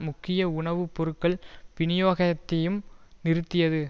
முக்கிய உணவு பொருட்கள் வினியோகத்தையும் நிறுத்தியது